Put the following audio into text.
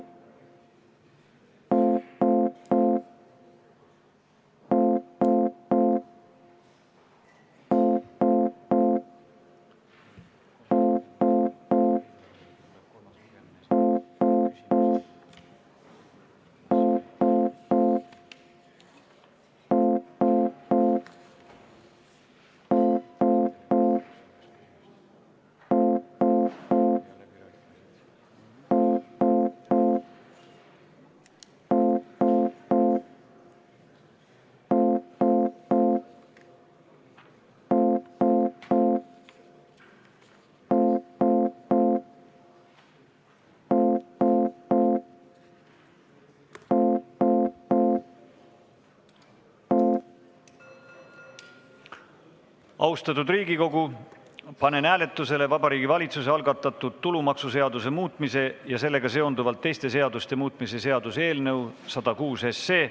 Austatud Riigikogu, panen hääletusele Vabariigi Valitsuse algatatud tulumaksuseaduse muutmise ja sellega seonduvalt teiste seaduste muutmise seaduse eelnõu 106.